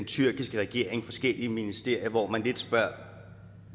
tyrkiske regering forskellige ministerier hvor man lidt spørger